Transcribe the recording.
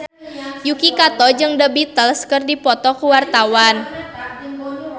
Yuki Kato jeung The Beatles keur dipoto ku wartawan